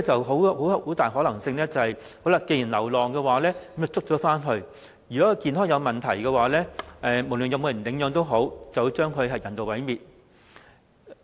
很大可能是，先將流浪動物捉回去，看是否有人領養，如果動物健康有問題，便將之人道毀滅。